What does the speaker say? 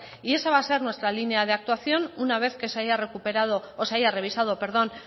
y esa va a ser nuestra línea de actuación una vez de que se haya recuperado o se haya revisado perdón